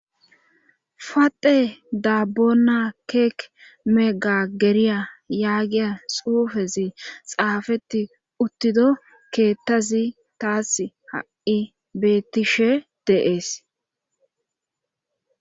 fate daabona keek mega geriya yaagiya xuufezi xaafeti uttido keettazi taas ha'i beettishe de'ees